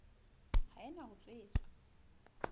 ha e na ho tshetswa